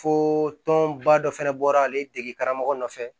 Fo tɔnba dɔ fɛnɛ bɔra ale dege karamɔgɔ nɔfɛ